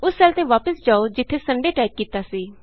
ਉਸ ਸੈੱਲ ਤੇ ਵਾਪਸ ਜਾਉ ਜਿਥੇ Sundayਟਾਈਪ ਕੀਤਾ ਸੀ